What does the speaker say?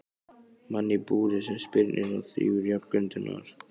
Mann í búri sem spyrnir og þrífur í járngrindurnar.